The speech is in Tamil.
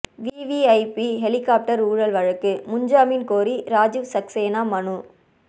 விவிஐபி ஹெலிகாப்டர் ஊழல் வழக்கு முன்ஜாமீன் கோரி ராஜிவ் சக்சேனா மனு